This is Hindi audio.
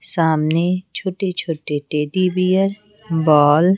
सामने छोटे-छोटे टेडी बियर बॉल --